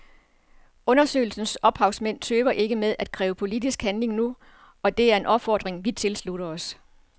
Undersøgelsens ophavsmænd tøver ikke med at kræve politisk handling nu, og det er en opfordring vi tilslutter os.